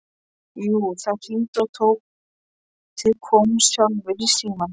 Jú, það hringdi og Tóti kom sjálfur í símann.